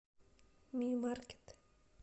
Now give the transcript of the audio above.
ми маркет